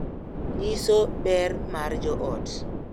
Nyiso ber mar joot